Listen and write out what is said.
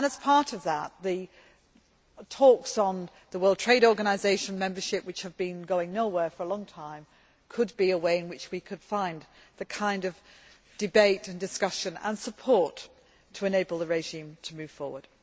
And as part of that, the talks on World Trade Organisation membership, which have been going nowhere for a long time, could be a way in which we could find the kind of debate and discussion and support to enable the regime to move forward.